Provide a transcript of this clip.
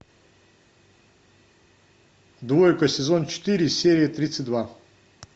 двойка сезон четыре серия тридцать два